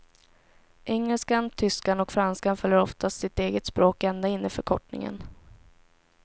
Engelskan, tyskan och franskan följer oftast sitt eget språk ända in i förkortningen.